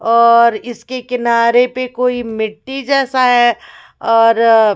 और इसके किनारे पे कोई मिट्टी जैसा है और--